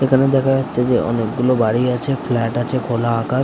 এখানে দেখা যাচ্ছে যে অনেক গুলো গাড়ি আছে ফ্লাট আছে খোলা আকাশ ।